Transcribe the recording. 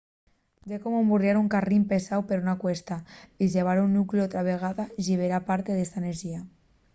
ye como emburriar un carrín pesáu per una cuesta dixebrar el nucleu otra vegada llibera parte d'esa enerxía